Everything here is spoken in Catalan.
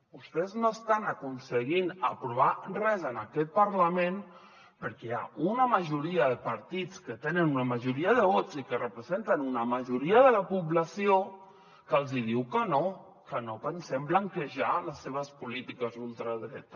vostès no estan aconseguint aprovar res en aquest parlament perquè hi ha una majoria de partits que tenen una majoria de vots i que representen una majoria de la població que els hi diu que no que no pensem blanquejar les seves polítiques d’ultradreta